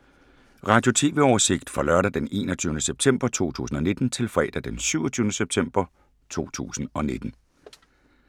Radio/TV oversigt fra lørdag d. 21. september 2019 til fredag d. 27. september 2019